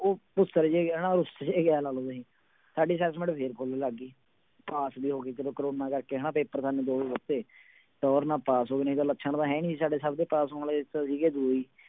ਉਹ ਭੁਸਰ ਜਿਹੇ ਗਿਆ ਰੁਸ ਜਿਹੇ ਗਿਆ ਇਉਂ ਲਾ ਲਓ ਤੁਸੀਂ, ਸਾਡੀ assessment ਫਿਰ full ਲੱਗ ਗਈ ਪਾਸ ਵੀ ਹੋ ਗਏ ਚਲੋ ਕੋਰੋਨਾ ਕਰਕੇ ਹਨਾ ਪੇਪਰ ਸਾਨੂੰ ਦੋ ਹੀ ਦਿੱਤੇ, ਟੋਰ ਨਾਲ ਪਾਸ ਹੋ ਗਏ ਨਹੀਂ ਤਾਂ ਲੱਛਣ ਤਾਂ ਹੈ ਨੀ ਸੀ ਸਾਡੇ ਸਭ ਦੇ ਪਾਸ ਹੋਣ ਦੇ